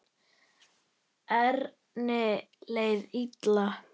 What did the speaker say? Erni leið illa.